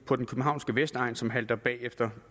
på den københavnske vestegn som halter bagefter